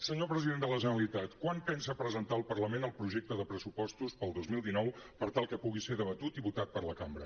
senyor president de la generalitat quan pensa presentar al parlament el projecte de pressupostos per al dos mil dinou per tal que pugui ser debatut i votat per la cambra